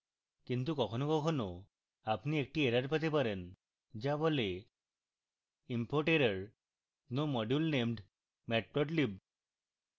কিন্তু কখনও কখনও আপনি একটি error পেতে পারে যা বলে